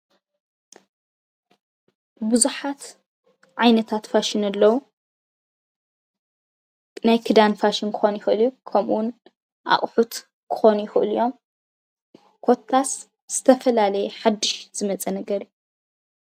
ብዙሓት ዓይነታት ፋሽን ኣለው፡፡ ናይ ክዳን ፋሽን ክኾን ይኽእል እዩ፡፡ ከምኡውን ኣቕሑት ክኾኑ ይኽእሉ እዮም፡፡ ኮታስ ዝተፈላለየ ሓዱሽ ዝመፀ ነገር እዩ፡፡